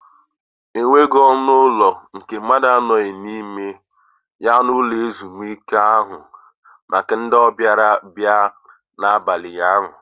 E nweghị ọnụ ụlọ nke ndị mmadu anoghị n'ime ya n'ụlọ ezumike ahụ maka ndị ọbịa bịara n'abalị ụnyaahụ.